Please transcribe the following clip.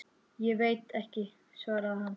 Ég veit ekki, svaraði hann.